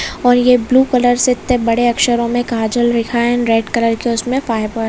और ये blue colour से ईत्ते बडे अक्षरो मे काजल लिखा है अँड रेड कलर के उसमे फाय --